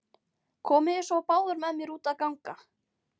Komiði svo báðar með mér út að ganga.